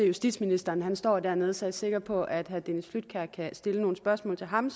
justitsministeren står dernede så jeg er sikker på at herre dennis flydtkjær kan stille nogle spørgsmål til ham